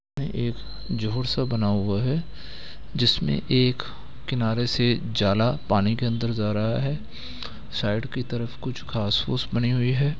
एक झील-सा बना हुआ है जिसमें एक किनारे से जाला पानी के अंदर जा रहा है| साइड के तरफ कुछ घांस-फूस बनी हुई है ।